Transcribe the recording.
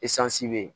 be yen